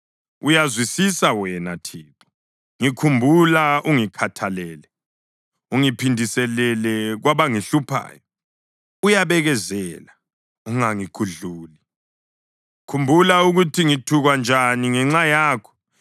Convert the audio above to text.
Uyazwisisa wena Thixo; ngikhumbula ungikhathalele. Ungiphindiselele kwabangihluphayo. Uyabekezela, ungangigudluli; khumbula ukuthi ngithukwa njani ngenxa yakho.